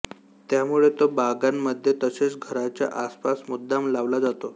त्यामुळे तो बागांमध्ये तसेच घराच्या आसपास मुद्दाम लावला जातो